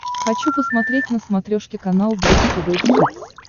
хочу посмотреть на смотрешке канал бридж тв хитс